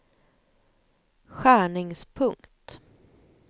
skärningspunkt